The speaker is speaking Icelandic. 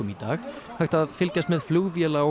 dag hægt að fylgjast með flugvéla og